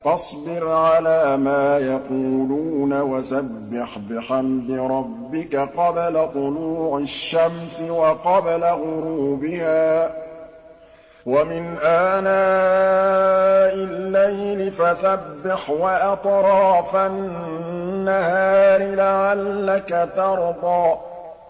فَاصْبِرْ عَلَىٰ مَا يَقُولُونَ وَسَبِّحْ بِحَمْدِ رَبِّكَ قَبْلَ طُلُوعِ الشَّمْسِ وَقَبْلَ غُرُوبِهَا ۖ وَمِنْ آنَاءِ اللَّيْلِ فَسَبِّحْ وَأَطْرَافَ النَّهَارِ لَعَلَّكَ تَرْضَىٰ